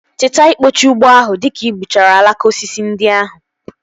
Cheta ikpochaa ugbo ahụ dịka gbuchara alaka osisi ndị ahụ